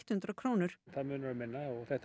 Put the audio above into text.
hundrað krónur það munar um minna og þetta